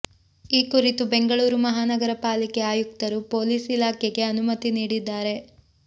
ಈ ಕುರಿತು ಬೆಂಗಳೂರು ಮಹಾನಗರ ಪಾಲಿಕೆ ಆಯುಕ್ತರು ಪೋಲೀಸ್ ಇಲಾಖೆಗೆ ಅನುಮತಿ ನೀಡಿದ್ದಾರೆ